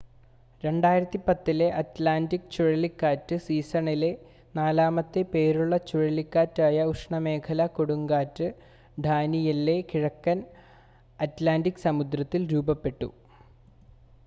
2010-ലെ Atlantic ചുഴലിക്കാറ്റ് സീസണിലെ നാലാമത്തെ പേരുള്ള ചുഴലിക്കാറ്റായ ഉഷ്ണമേഖലാ കൊടുങ്കാറ്റ് ഡാനിയെല്ലെ കിഴക്കൻ അറ്റ്ലാൻ്റിക് സമുദ്രത്തിൽ രൂപപ്പെട്ടു